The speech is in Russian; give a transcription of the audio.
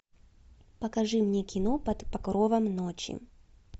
покажи мне кино под покровом ночи